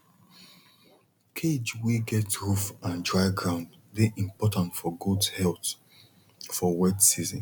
cage wey get roof and dry ground dey important for goat health for wet season